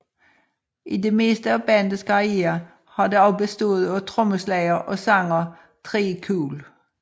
I det meste af bandets karriere har det også bestået af trommeslager og sanger Tré Cool